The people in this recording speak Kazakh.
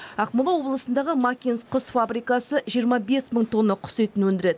ақмола облысындағы макинск құс фабрикасы жиырма бес мың тонна құс етін өндіреді